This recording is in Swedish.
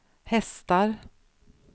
hästar